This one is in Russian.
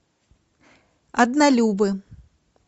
однолюбы